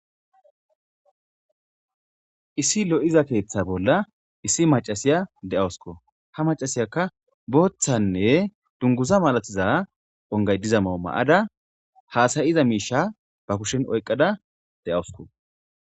Issi lo'iza keeththa bolla issi macasiya de'awusko. Ha macasiyakka booththanne dunguza malatiza ongay diza mayo maayada haasayiza miisha ba kushshen oyqada de'awusko.